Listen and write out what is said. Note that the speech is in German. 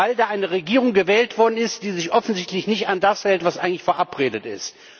Weil da eine Regierung gewählt worden ist, die sich offensichtlich nicht an das hält, was verabredet ist.